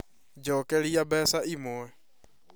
Njokeria mbeca imwe